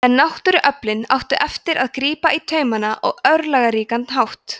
en náttúruöflin áttu eftir að grípa í taumana á örlagaríkan hátt